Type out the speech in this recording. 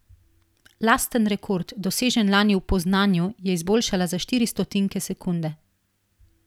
Lasten rekord, dosežen lani v Poznanju, je izboljšala za štiri stotinke sekunde.